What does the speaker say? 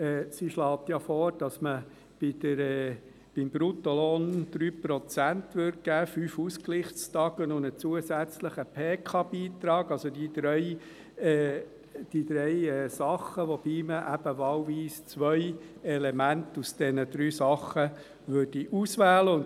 Sie schlägt ja vor, dass man beim Bruttolohn 3 Prozent geben würde, 5 Ausgleichstage und einen zusätzlichen Pensionskassen-Beitrag – also, diese drei Dinge, wobei man eben zwei von diesen drei Dingen auswählen würde.